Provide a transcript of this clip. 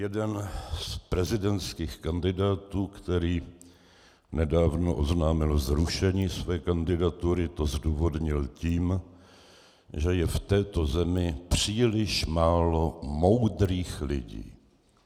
Jeden z prezidentských kandidátů, který nedávno oznámil zrušení své kandidatury, to zdůvodnil tím, že je v této zemi příliš málo moudrých lidí.